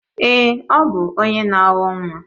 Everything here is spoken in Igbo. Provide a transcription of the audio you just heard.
Èé, ọ bụ onye na awọ nwa.